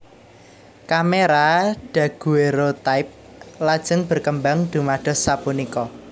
Kamera daguerreotype lajeng berkembang dumados sapunika